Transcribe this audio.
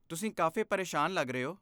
ਤੁਸੀਂ ਕਾਫ਼ੀ ਪਰੇਸ਼ਾਨ ਲੱਗ ਰਹੇ ਹੋ।